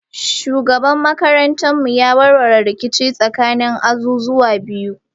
Shugaban makarantar ya warware rikici tsakanin azuzuwan biyu.